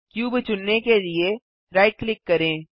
cube चुनने के लिए राइट क्लिक करें